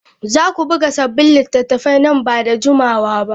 Za ku buga sabbin littattafai nan ba da jimawa ba?